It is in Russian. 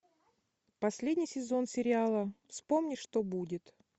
последний сезон сериала вспомни что будет